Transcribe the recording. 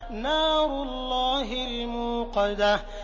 نَارُ اللَّهِ الْمُوقَدَةُ